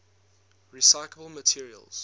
recyclable materials